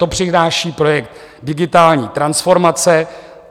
To přináší projekt digitální transformace.